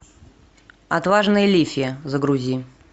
отважная лифи загрузи